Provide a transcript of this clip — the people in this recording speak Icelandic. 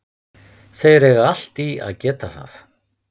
Þeir eiga allt í að geta það.